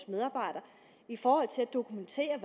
medarbejdere i forhold til at dokumentere